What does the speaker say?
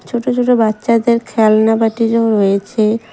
ছোট ছোট বাচ্চাদের খেলনা বাটিরও রয়েছে।